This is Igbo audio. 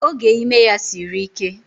Oge ime ya siri ike